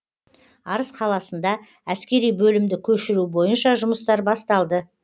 арыс қаласында әскери бөлімді көшіру бойынша жұмыстар басталды